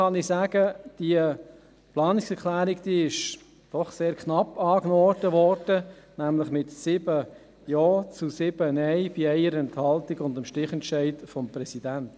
Ich kann dazu sagen, dass diese Planungserklärung doch sehr knapp angenommen wurde, nämlich mit 7 Ja zu 7 Nein bei 1 Enthaltung mit dem Stichentscheid des Präsidenten.